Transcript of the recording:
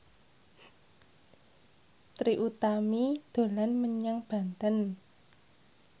Trie Utami dolan menyang Banten